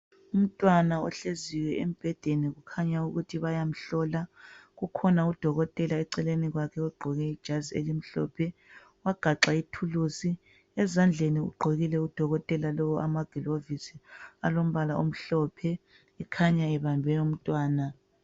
Umntwana ohleziyo embhedeni kukhanya ukuthi bayamhlola. Kukhona udokotela eceleni kwakhe ogqoke ijazi elimhlophe wagaxa ithulusi. Ezandleni ugqokile udokotela lowu amagilovisi alombala omhlophe ekhanya ebambe umntwana.